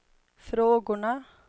frågorna